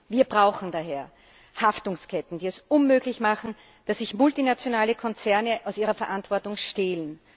Wir brauchen daher Haftungsketten, die es unmöglich machen, dass sich multinationale Konzerne aus ihrer Verantwortung stehlen.